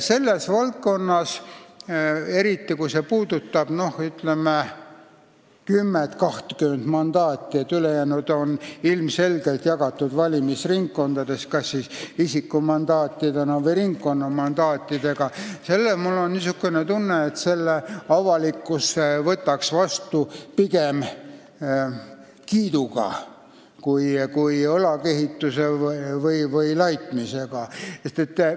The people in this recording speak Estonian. Selles valdkonnas, eriti kui see puudutab 10–20 mandaati, ülejäänud on ilmselgelt jagatud valimisringkondades kas isikumandaatide või ringkonnamandaatidega, mul on tunne, võtaks avalikkus selle muudatuse vastu pigem heakskiiduga kui õlakehituse või laitmisega.